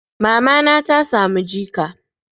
Mamana ta samu jika.